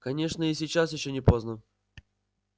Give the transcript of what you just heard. конечно и сейчас ещё не поздно